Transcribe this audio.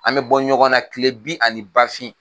An bɛ bɔ ɲɔgɔn na kile bin ani ba fin.